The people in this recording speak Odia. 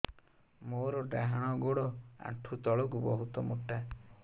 ମୋର ଡାହାଣ ଗୋଡ ଆଣ୍ଠୁ ତଳୁକୁ ବହୁତ ମୋଟା